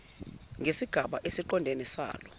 ngesigaba esiqondene salo